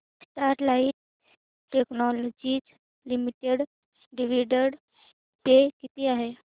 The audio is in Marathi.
Sterlite technologies limited dividend pay किती आहे